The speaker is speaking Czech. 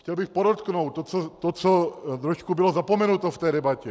Chtěl bych podotknout to, co trošku bylo zapomenuto v té debatě.